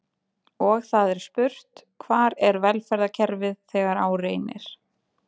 Og það er spurt: Hvar er velferðarkerfið þegar á reynir?